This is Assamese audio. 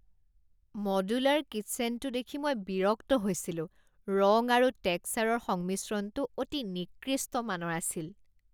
মডুলাৰ কিচ্চেনটো দেখি মই বিৰক্ত হৈছিলো। ৰং আৰু টেক্সচাৰৰ সংমিশ্ৰণটো অতি নিকৃষ্ট মানৰ আছিল।